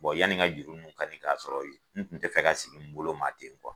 Bɔn yani n ka juru nunnu kanin k'a sɔrɔ n kun te fɛ ka sigi n bolo maa ten kuwa